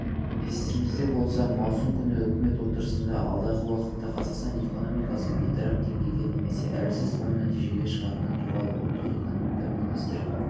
естеріңізде болса маусым күні үкіметі отырысында алдағы уақытта қазақстан экономикасы бейтарап деңгейге немесе әлсіз оң нәтижеге шығатыны туралы ұлттық экономика министрі